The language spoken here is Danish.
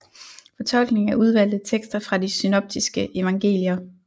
Fortolkning af udvalgte tekster fra de synoptiske evangelier